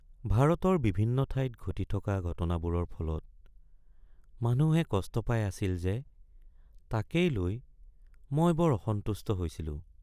ভাৰতৰ বিভিন্ন ঠাইত ঘটি থকা ঘটনাবোৰৰ ফলত মানুহে কষ্ট পাই আছিল যে তাকেই লৈ মই বৰ অসন্তুষ্ট হৈছিলোঁ।